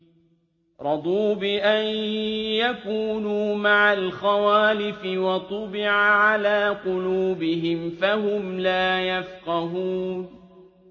رَضُوا بِأَن يَكُونُوا مَعَ الْخَوَالِفِ وَطُبِعَ عَلَىٰ قُلُوبِهِمْ فَهُمْ لَا يَفْقَهُونَ